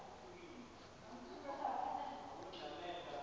nye indlela yabo